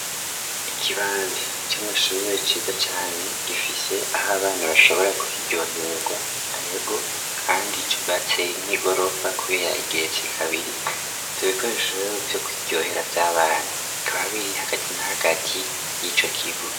Ikibanza c'amashuruye ciza cane gifise aho abana bashobora kwiryohererwa awego, kandi icu batse nk'igorofa, kubera getse kabiri tubikoreshewo vyo kwiryohera vy'abana kababiri hagati nahagati y'ico kigo.